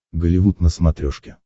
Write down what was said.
голливуд на смотрешке